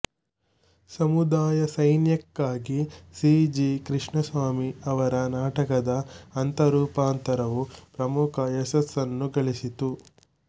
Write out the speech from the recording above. ಸಮುದಯ ಸೈನ್ಯಕ್ಕಾಗಿ C G Krishnaswamy ಅವರ ನಾಟಕದ ಹಂತರೂಪಾಂತರವು ಪ್ರಮುಖ ಯಶಸ್ಸನ್ನು ಗಳಿಸಿತು